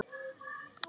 En hver var hún þá?